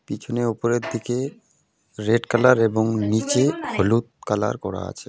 পিছনে ওপরের দিকে রেড কালার এবং নীচে হলুদ কালার করা আছে.